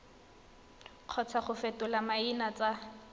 kgotsa go fetola maina tsa